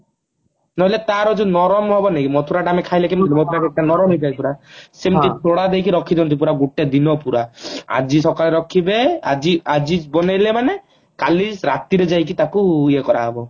ବୋଲେ ତାର ଯୋଉ ନରମ ହବନି କି ମଥୁରା ଟା ଆମେ ଖାଇଲେ ନରମ ହେଇ ଥାଏ ପୁରା ସେମତି ଦେଇକି ରଖି ଦିଅନ୍ତି ପୁରା ଗୋଟେ ଦିନ ପୁରା ଆଜି ସକାଳେ ରଖିବେ ଆଜି ଆଜି ବନେଇଲେ ମାନେ କଲି ରାତିରେ ଯାଇକି ତାକୁ ଇଏ କରାହେବ